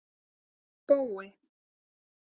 Bói